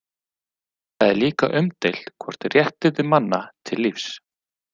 Það er líka umdeilt hvort réttindi manna til lífs.